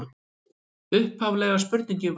Upphaflega spurningin var: